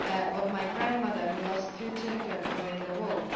of my grandmother who lost two children during the war.